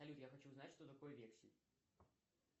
салют я хочу узнать что такое вексель